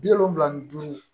Bi wolonfila ni duuru